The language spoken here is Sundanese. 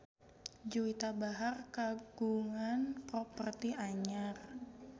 Juwita Bahar kagungan properti anyar